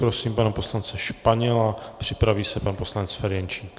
Prosím pana poslance Španěla, připraví se pan poslanec Ferjenčík.